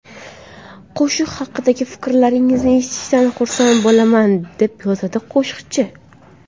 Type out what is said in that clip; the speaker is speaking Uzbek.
Qo‘shiq haqidagi fikrlaringizni eshitishdan xursand bo‘laman”, deb yozadi qo‘shiqchi.